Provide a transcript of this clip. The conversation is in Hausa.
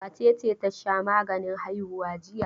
Wace ce ta sha maganin haihuwa jiya?